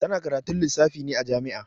Ta na karatun lissafi ne a jami'a